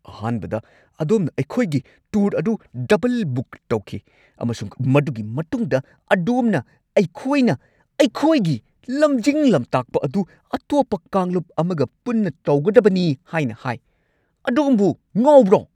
ꯑꯍꯥꯟꯕꯗ, ꯑꯗꯣꯝꯅ ꯑꯩꯈꯣꯏꯒꯤ ꯇꯨꯔ ꯑꯗꯨ ꯗꯕꯜ-ꯕꯨꯛ ꯇꯧꯈꯤ ꯑꯃꯁꯨꯡ ꯃꯗꯨꯒꯤ ꯃꯇꯨꯡꯗ ꯑꯗꯣꯝꯅ ꯑꯩꯈꯣꯏꯅ ꯑꯩꯈꯣꯏꯒꯤ ꯂꯝꯖꯤꯡ-ꯂꯝꯇꯥꯛꯄ ꯑꯗꯨ ꯑꯇꯣꯞꯄ ꯀꯥꯡꯂꯨꯞ ꯑꯃꯒ ꯄꯨꯟꯅ ꯇꯧꯒꯗꯕꯅꯤ ꯍꯥꯏꯅ ꯍꯥꯏ꯫ ꯑꯗꯣꯝꯕꯨ ꯉꯥꯎꯕ꯭ꯔꯣ?